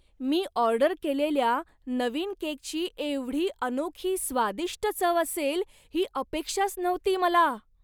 मी order केलेल्या नवीन केकची एवढी अनोखी स्वादिष्ट चव असेल ही अपेक्षाच नव्हती मला!